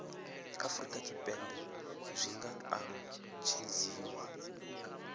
afurika tshipembe zwi nga alutshedziwa